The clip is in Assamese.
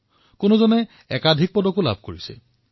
ইয়াৰে কিছুমান খেলুৱৈয়ে একাধিক ক্ৰীড়াত মেডেল লাভ কৰিছে